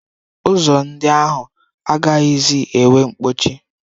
Ụzọ ndị ahụ agaghịzi enwe nkpọchi.